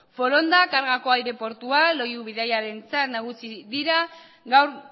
foronda kargako aireportua loiu bidaiarientzat nagusi dira gaur